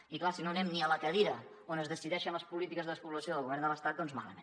i clar si no anem ni a la cadira on es decideixen les polítiques de despoblació del govern de l’estat doncs malament